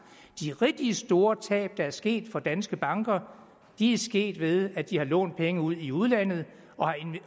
de rigtig store tab der er sket for danske banker er sket ved at de har lånt penge ud i udlandet